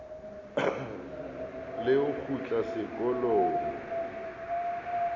le ho kgutla sekolong o